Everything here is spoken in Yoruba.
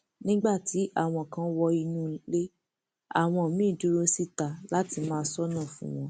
nígbà tí àwọn kan wọ inú ilé àwọn míín dúró síta láti máa ṣọnà fún wọn